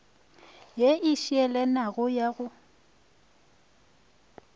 ye e šielanago ya go